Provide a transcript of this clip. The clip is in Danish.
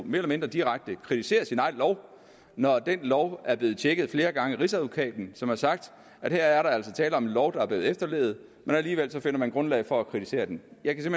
mere eller mindre direkte kritiserer sin egen lov når den lov er blevet tjekket flere gange af rigsadvokaten som har sagt at her er der altså tale om en lov der er blevet efterlevet men alligevel finder man grundlag for at kritisere den jeg kan